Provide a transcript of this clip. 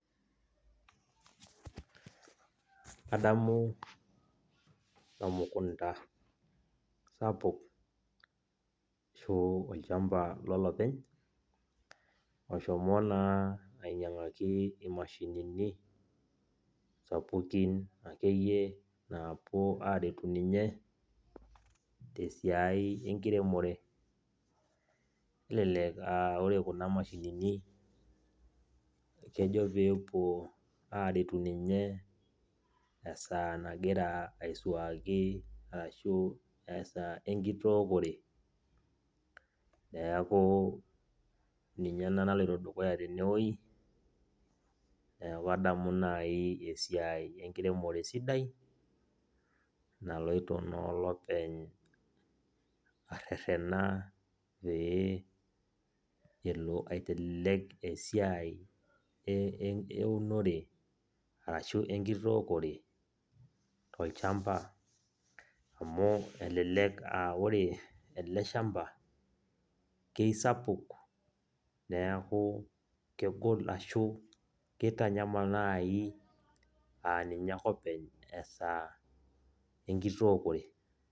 Kadamu emukunda sapuk ashu olchamba lolopeny, oshomo naa ainyang'aki imashinini sapukin akeyie naapuo aretu ninye tesiai enkiremore. Nelelek ah ore kuna mashinini, kejo pepuo aretu ninye esaa nagira aisuaki ashu esaa enkitokore, neeku ninye ena naloito dukuya tenewoi. Neeku adamu nai esiai enkiremore sidai, naloito naa olopeny arrerrena pee elo aitelelek esiai eunore arashu enkitookore, tolchamba, amu elelek ah ore ele shamba, kisapuk, neeku kegol ashu kitanyamal nai aninye ake openy, esaa enkitookore.